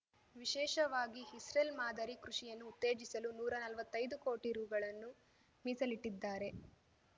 ವಿಶೇಷವಾಗಿ ಇಸ್ರೇಲ್ ಮಾದರಿ ಕೃಷಿಯನ್ನು ಉತ್ತೇಜಿಸಲು ನೂರಾ ನಲ್ವತ್ತೈದು ಕೋಟಿ ರೂ ಗಳನ್ನು ಮೀಸಲಿಟ್ಟಿದ್ದಾರೆ